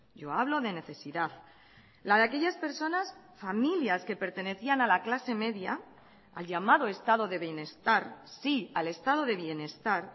yo hablo de necesidad la de aquellas personas familias que pertenecían a la clase media al llamado estado de bienestar sí al estado de bienestar